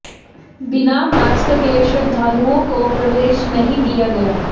बिना मास्क के श्रद्धालुओं को प्रवेश नहीं दिया गया